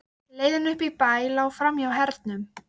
Reyndist gangvari Gísla hafa betra áttaskyn en Sigurður bóndi.